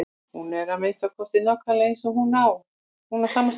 Hún er að minnsta kosti nákvæmlega eins og hin og á sama stað.